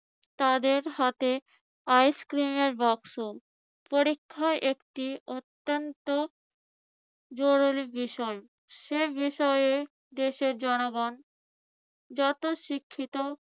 তাদের হাতে আইসক্রিমের বক্সও। পরীক্ষা একটি অত্যন্ত জরুরি বিষয়। সে বিষয়ে দেশের জনগণ যত শিক্ষিত